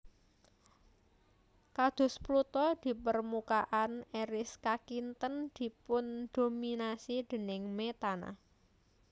Kados Pluto permukaan Eris kakinten dipundhominasi déning metana